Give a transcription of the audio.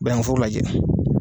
Bɛnforo lajɛ.